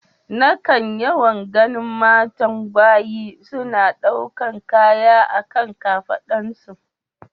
Na kan yawan ganin matayen gbagyi suna daukan kaya a kan kafadun su.